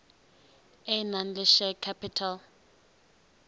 e nang le share capital